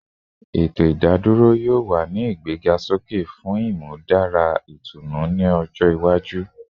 Eto idadoro yoo wa ni igbegasoke fun imudara itunu ni ojo iwaju